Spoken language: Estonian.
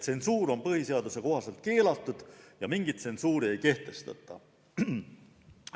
Tsensuur on põhiseaduse järgi keelatud ja mingit tsensuuri ei kehtestata.